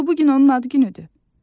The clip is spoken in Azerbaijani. Axı bu gün onun ad günüdür.